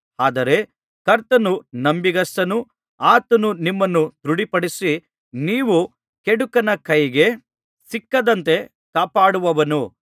ಆದರೆ ಕರ್ತನು ನಂಬಿಗಸ್ತನು ಆತನು ನಿಮ್ಮನ್ನು ದೃಢಪಡಿಸಿ ನೀವು ಕೆಡುಕನ ಕೈಗೆ ಸಿಕ್ಕದಂತೆ ಕಾಪಾಡುವನು